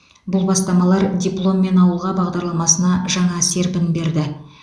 бұл бастамалар дипломмен ауылға бағдарламасына жаңа серпін берді